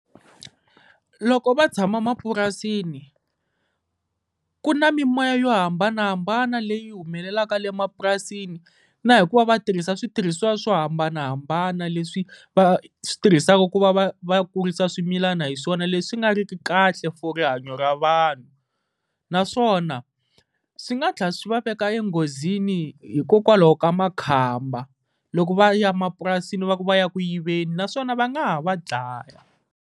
Loko va tshama mapurasini ku na mimoya yo hambanahambana leyi humelelaka le mapurasini, na hi ku va va tirhisa switirhisiwa swo hambanahambana leswi va va switirhisaka ku va va va kurisa swimilana, hi swona leswi nga ri ki kahle for rihanyo ra vanhu. Naswona swi nga tlhela swi va veka enghozini hikokwalaho ka makhamba, loko va ya mapurasini va ku va ya ku yiveni naswona va nga ha va dlaya.